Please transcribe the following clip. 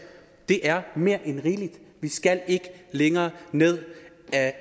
det er mere end rigeligt vi skal ikke længere ned ad